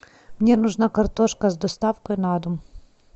мне нужна картошка с доставкой на дом